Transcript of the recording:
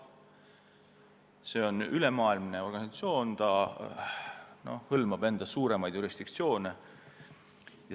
See on ülemaailmne organisatsioon, ta hõlmab suuremaid jurisdiktsioone.